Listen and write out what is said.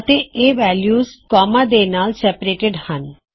ਅਤੇ ਇਹਨਾ values comma ਦੇ ਨਾਲ ਸੈਪਰੇਟਿਡ ਹਣ